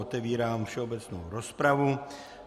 Otevírám všeobecnou rozpravu.